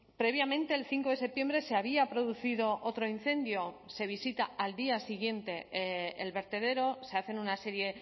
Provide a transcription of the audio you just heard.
previamente el cinco de septiembre se había producido otro incendio se visita al día siguiente el vertedero se hacen una serie